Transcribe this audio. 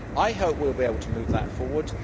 I hope we will be able to move that forward.